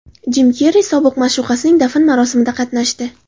Jim Kerri sobiq ma’shuqasining dafn marosimida qatnashdi .